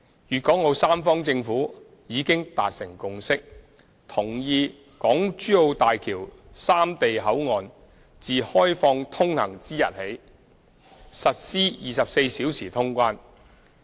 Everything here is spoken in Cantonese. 粵港澳三方政府已達成共識，同意大橋三地口岸自開放通行之日起實施24小時通關。